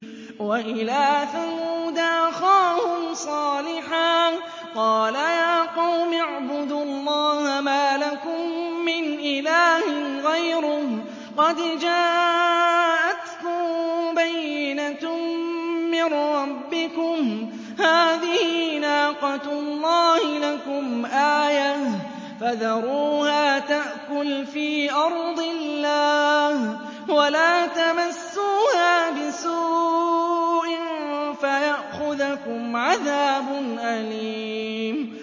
وَإِلَىٰ ثَمُودَ أَخَاهُمْ صَالِحًا ۗ قَالَ يَا قَوْمِ اعْبُدُوا اللَّهَ مَا لَكُم مِّنْ إِلَٰهٍ غَيْرُهُ ۖ قَدْ جَاءَتْكُم بَيِّنَةٌ مِّن رَّبِّكُمْ ۖ هَٰذِهِ نَاقَةُ اللَّهِ لَكُمْ آيَةً ۖ فَذَرُوهَا تَأْكُلْ فِي أَرْضِ اللَّهِ ۖ وَلَا تَمَسُّوهَا بِسُوءٍ فَيَأْخُذَكُمْ عَذَابٌ أَلِيمٌ